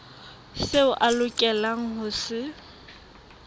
seo a lokelang ho se